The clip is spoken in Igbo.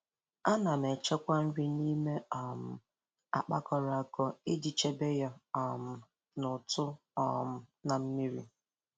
Ana m echekwa nri n'ime um akpa kọrọ akọ iji chebe ya um n'ụtụ um na mmiri